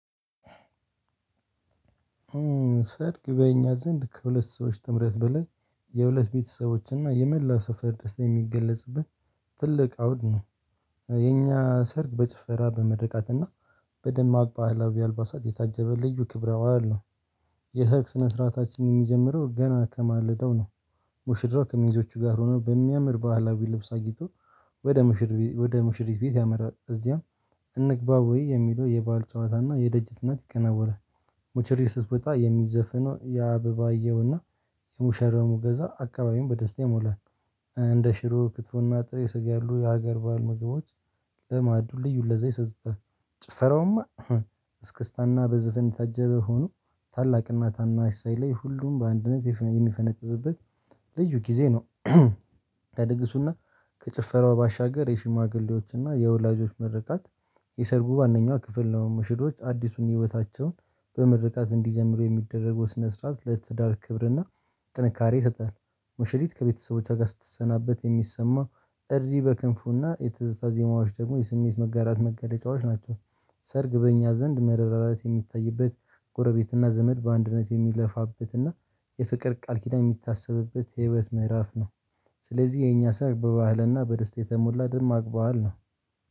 ሰርግ በእኛ ዘንድ ከሁለት ሰዎች ጥምረት በላይ የሁለት ቤተሰቦች እና የመላው ሰፈር ደስታ የሚገለጽበት ትልቅ አውድ ነው። የኛ ሰርግ በጭፈራ በምርቃትና በደማቅ ባህላዊ አልባሳት የታጀበ ልዩ ክብረ በዓል ነው። የሰርግ ስነስርዓታችን የሚጀምረው ገና ከማለዳው ነው። ሙሽራው ከሚዜወቹ ጋር ሆኖ በሚያምር ባህላዊ ልብስ አጊጦ ወደ ሙሽሪ ሙሽሪት ቤት ያመራል። እዚያም እንግባ ወይ የሚለው የበአል ጨዋታና የደጅ ጥናት ይከናወናል። ሙሽሪጥት ስትወጣ የሚዘፈነው የአበባ አየሁና የሙሸራው ገዛ አካባቢውን በደስታ ይሞላል። እንደ ሽሮ ክትፎና ጥሬ ስጋ ያሉ የሀገር ባህል ምግቦች ለመአዱ ልዩ ለዛ ይሰጡታል። ጭፈራውማ እስክስታና በዘፈን የታጀበ ሆኖ ታላቅና ታናሽ ሳይለይ ሁሉም በአንድነት የሚፈነጥዝበት ልዩ ጊዜ ነው። ለድግሱና ከጭፈራው ባሻገር የሽማግሌዎች እና የወላጆች ምርቃት የሰርጉ ዋነኛው ክፍል ነው። ሙሽሮች አዲሱን ህይወታቸውን በምርቃት እንዲጀምሩ የሚደረገው ስነ ስርዓት ለትዳር ክብርና ጥንካሬ ይሰጣል። ሙሽሪት ከቤተሰቦቿ ጋር ስትሰናበት የሚሰማው እሪ በክንፉና የትዝታ ዜማዎች ደግሞ የስሜት መጋራት መገለጫዎች ናቸው። ሰርግ በእኛ ዘንድ መረዳዳት የሚታይበት ጎረቤትና ዘመድ በአንድነት የሚለፋበትና የፍቅር ቃል ኪዳን የሚታሰብበት የህይወት ምዕራፍ ነው። ስለዚህ የኛ ሰርግ በባህልና በደስታ የተሞላ ደማቅ ባህል ነው።